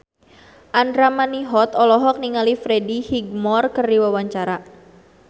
Andra Manihot olohok ningali Freddie Highmore keur diwawancara